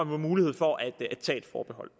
være mulighed for at tage forbehold